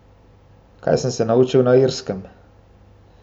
Kaj sem se naučil na Irskem?